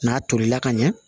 N'a tolila ka ɲɛ